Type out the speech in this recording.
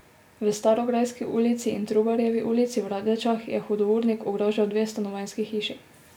V Starograjski ulici in Trubarjevi ulici v Radečah je hudournik ogrožal dve stanovanjski hiši.